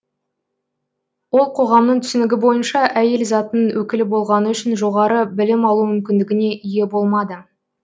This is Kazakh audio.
ол қоғамның түсінігі бойынша әйел затының өкілі болғаны үшін жоғары білім алу мүмкіндігіне ие болмады